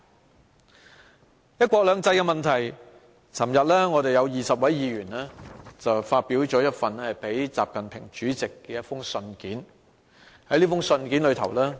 就"一國兩制"的問題，昨天有20位議員發表了一封致國家主席習近平的信。